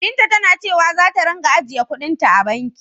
Binta tana cewa zata ringa ajiyekuɗin ta a banki.